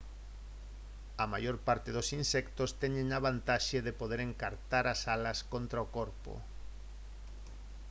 a maior parte dos insectos teñen a vantaxe de poder encartar as alas contra o corpo